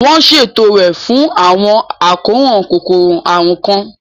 Wọ́n ṣètò rẹ̀ fún àwọn àkóràn kòkòrò àrùn kan.